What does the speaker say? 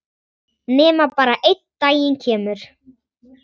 Nema bara einn daginn kemur